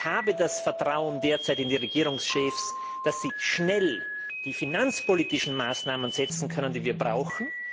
Ich habe derzeit das Vertrauen in die Regierungschefs, dass sie schnell die finanzpolitischen Maßnahmen setzen können, die wir brauchen.